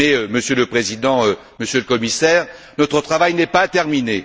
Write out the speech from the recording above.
Monsieur le Président, Monsieur le Commissaire, notre travail n'est pas terminé.